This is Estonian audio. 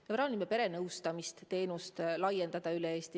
Me plaanime perenõustamisteenust laiendada üle Eesti.